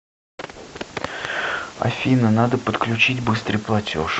афина надо подключить быстрый платеж